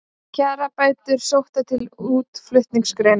Kjarabætur sóttar til útflutningsgreina